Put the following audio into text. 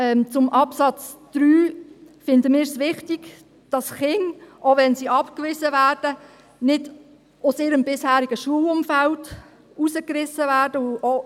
Beim Absatz 3 finden wir es wichtig, dass Kinder, auch wenn sie abgewiesen werden, nicht aus ihrem bisherigen Schulumfeld gerissen werden.